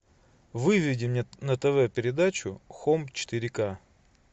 выведи мне на тв передачу хоум четыре ка